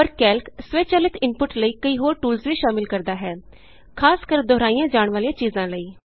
ਪਰ ਕੈਲਕ ਸਵੈਚਾਲਿਤ ਇਨਪੁਟ ਲਈ ਕਈ ਹੋਰ ਟੂਲਸ ਵੀ ਸ਼ਾਮਿਲ ਕਰਦਾ ਹੈ ਖਾਸ ਕਰ ਦੋਹਰਾਈਆਂ ਜਾਣ ਵਾਲੀਆਂ ਚੀਜ਼ਾਂ ਲਈ